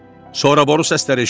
Sonra boru səsləri eşidildi.